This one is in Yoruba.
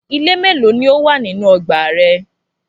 Ilé mélòó ni ó wà nínú ọgbà rẹ?